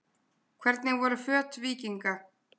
Hvernig voru föt víkinga?